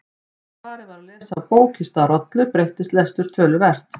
Þegar farið var að lesa af bók í stað rollu breyttist lestur töluvert.